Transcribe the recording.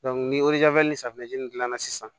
ni ni safinɛ dilanna sisan